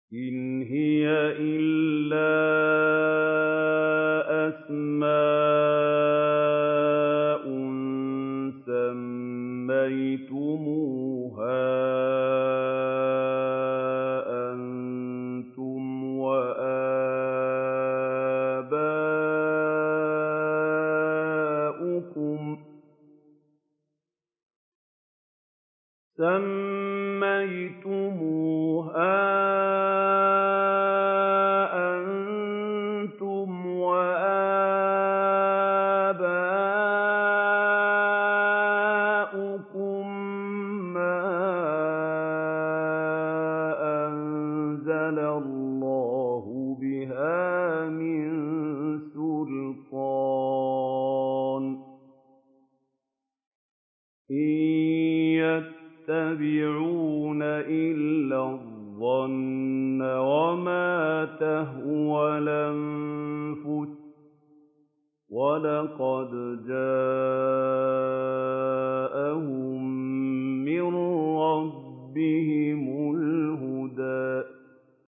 إِنْ هِيَ إِلَّا أَسْمَاءٌ سَمَّيْتُمُوهَا أَنتُمْ وَآبَاؤُكُم مَّا أَنزَلَ اللَّهُ بِهَا مِن سُلْطَانٍ ۚ إِن يَتَّبِعُونَ إِلَّا الظَّنَّ وَمَا تَهْوَى الْأَنفُسُ ۖ وَلَقَدْ جَاءَهُم مِّن رَّبِّهِمُ الْهُدَىٰ